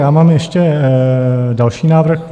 Já mám ještě další návrh.